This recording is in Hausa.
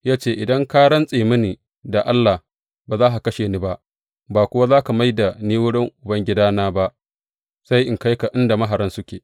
Ya ce, Idan ka rantse mini da Allah, ba za ka kashe ni ba, ba kuwa za ka mai da ni wurin ubangidana ba, sai in kai ka inda maharan suke.